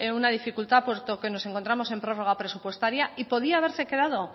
una dificultad puesto que nos encontramos en prórroga presupuestaria y podría haberse quedado